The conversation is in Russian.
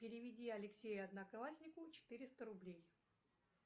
переведи алексею однокласснику четыреста рублей